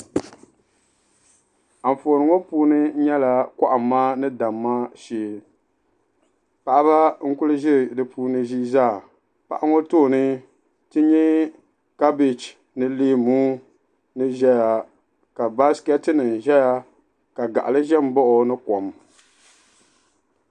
Anfooni ŋɔ puuni nyɛla kɔhimma ni damma shɛɛ paɣaba n kuli zɛ di puuni zii zaa paɣa ŋɔ tooni ti yɛa kabieji ni leemu ni zɛya ka baaiketi nima zɛya ka gaɣili zɛ n baɣi o ni kom.